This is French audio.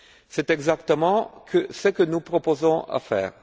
C'est exactement ce que nous proposons de faire.